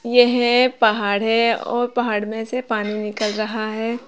यह पहाड़ है और पहाड़ में से पानी निकल रहा है।